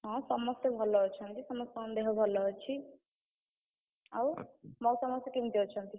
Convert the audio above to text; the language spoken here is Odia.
ହଁ, ସମସ୍ତେ ଭଲ ଅଛନ୍ତି, ସମସ୍ତଙ୍କ ଦେହ ଭଲ ଅଛି। ଆଉ ମଉସା ମାଉସୀ କେମିତି ଅଛନ୍ତି?